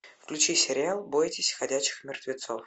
включи сериал бойтесь ходячих мертвецов